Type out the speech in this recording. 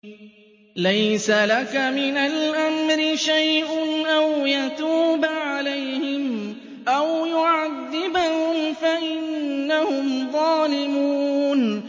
لَيْسَ لَكَ مِنَ الْأَمْرِ شَيْءٌ أَوْ يَتُوبَ عَلَيْهِمْ أَوْ يُعَذِّبَهُمْ فَإِنَّهُمْ ظَالِمُونَ